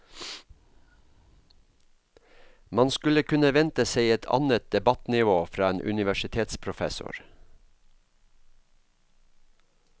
Man skulle kunne vente seg et annet debattnivå fra en universitetsprofessor.